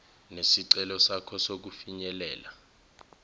nesicelo sakho sokufinyelela